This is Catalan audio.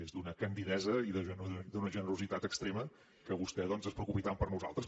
és d’una candidesa i d’una generositat extrema que vostè doncs es preocupi tant per nosaltres